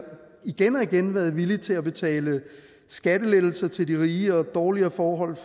igen og igen været villig til at betale skattelettelser til de rige og give dårligere forhold